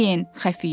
Kömək eləyin!